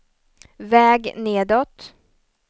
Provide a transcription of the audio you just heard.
väg nedåt